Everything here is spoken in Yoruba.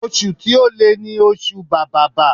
Oṣù to le ni oṣù bàbàbà.